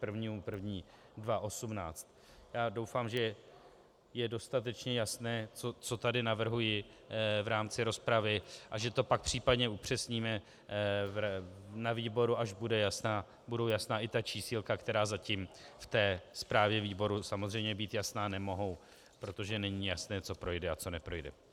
Já doufám, že je dostatečně jasné, co tady navrhuji v rámci rozpravy, a že to pak případně upřesníme na výboru, až budou jasná i ta čísílka, která zatím v té zprávě výboru samozřejmě být jasná nemohou, protože není jasné, co projde a co neprojde.